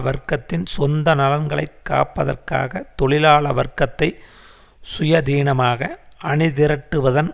வர்க்கத்தின் சொந்த நலன்களை காப்பதற்காக தொழிலாள வர்க்கத்தை சுயதீனமாக அணிதிரட்டுவதன்